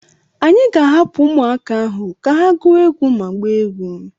Anyị ga-ahapụ ahụ ka ha gụọ egwu ma gbaa egwu.